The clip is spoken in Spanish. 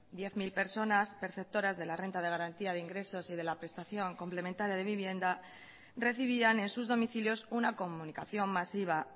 diez mil personas perceptoras de la renta de garantía de ingresos y de la prestación complementaria de vivienda recibían en sus domicilios una comunicación masiva